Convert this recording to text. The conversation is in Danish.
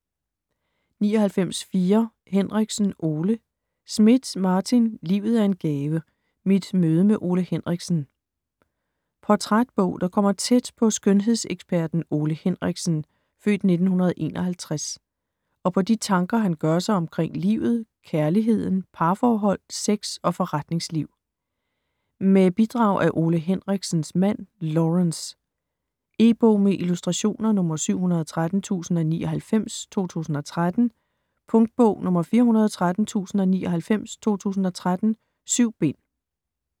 99.4 Henriksen, Ole Schmidt, Martin: Livet er en gave: mit møde med Ole Henriksen Portrætbog der kommer tæt på skønhedseksperten Ole Henriksen (f. 1951) og på de tanker, han gør sig omkring livet, kærligheden, parforhold, sex og forretningsliv. Med bidrag af Ole Henriksens mand Laurence. E-bog med illustrationer 713099 2013. Punktbog 413099 2013. 7 bind.